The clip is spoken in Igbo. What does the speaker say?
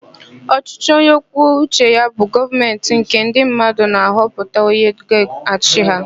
Ọchịchị onyekwuoucheya bụ Gọọmentị nke ndị mmadụ na-ahọpụta onye ga-achị ha.